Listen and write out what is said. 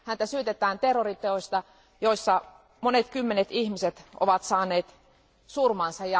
Häntä syytetään terroriteoista, joissa monet kymmenet ihmiset ovat saaneet surmansa.